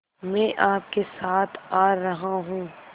मैं आपके साथ आ रहा हूँ